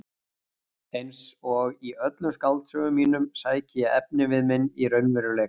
Einsog í öllum skáldsögum mínum sæki ég efnivið minn í raunveruleikann.